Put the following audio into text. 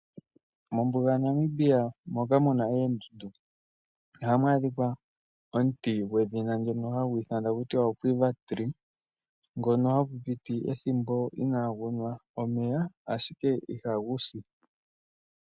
Mombuga yaNamibia moka mu na oondundu oha mu adhika omuti gwedhina ndyono hagu ithanwa kutya oQuiva tree ngono hagu piti ethimbo ina gu nwa omeya ashike iha gu si.